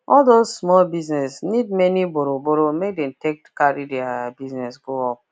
all those small business need many burrow burrow make they take carry thier business go up